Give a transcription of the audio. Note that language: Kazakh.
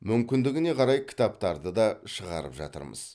мүмкіндігіне қарай кітаптарды да шығарып жатырмыз